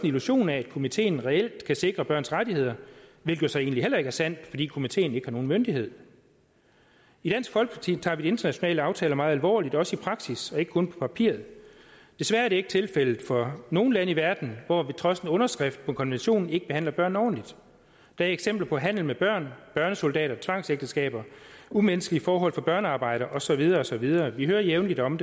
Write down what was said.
illusion af at komiteen reelt kan sikre børns rettigheder hvilket så egentlig heller ikke er sandt fordi komiteen ikke har nogen myndighed i dansk folkeparti tager vi de internationale aftaler meget alvorligt også i praksis og ikke kun på papiret desværre er det ikke tilfældet for nogle lande i verden hvor de trods en underskrift af konventionen ikke behandler børn ordentligt der er eksempler på handel med børn børnesoldater tvangsægteskaber umenneskelige forhold for børnearbejdere og så videre og så videre vi hører jævnligt om